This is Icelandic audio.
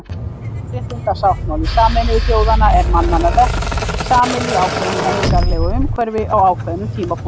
Mannréttindasáttmáli Sameinuðu þjóðanna er mannanna verk, saminn í ákveðnu menningarlegu umhverfi á ákveðnum tímapunkti.